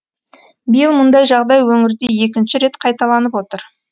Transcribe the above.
биыл мұндай жағдай өңірде екінші рет қайталанып отыр